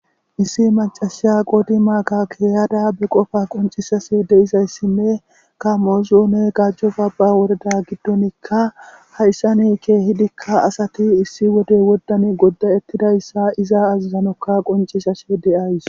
issi macasha qoodi maaka keeyada be qofa qoncishase deizayssinne ka moozu ne gajjo babba woreda giddonikka hayssani kee hidikka asati issi wode woddan goddayettidayssa iza azazanokka qoncishashe deays